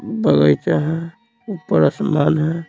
बगैचा है ऊपर आसमान है।